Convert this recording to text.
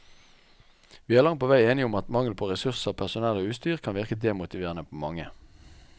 Vi er å langt på vei enig om at mangel på ressurser, personell og utstyr kan virke demotiverende på mange.